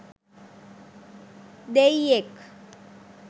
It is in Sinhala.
දෙයියෙක්!